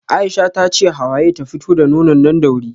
Aisha tace Hawaye ta fito da nonon nan da wuri